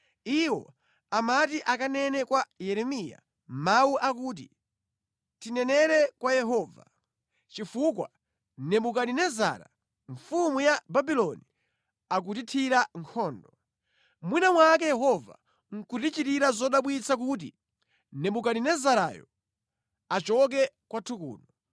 Iwo amati akanene kwa Yeremiya mawu akuti, “Tinenere kwa Yehova chifukwa Nebukadinezara mfumu ya Babuloni akutithira nkhondo. Mwina mwake Yehova nʼkutichitira zodabwitsa kuti Nebukadinezarayo achoke kwathu kuno.”